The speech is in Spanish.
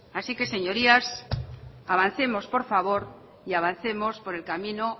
así que señorías avancemos por favor y avancemos por el camino